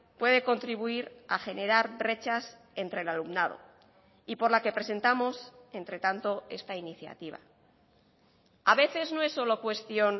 puede contribuir a generar brechas entre el alumnado y por la que presentamos entre tanto esta iniciativa a veces no es solo cuestión